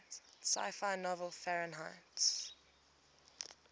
sci fi novel fahrenheit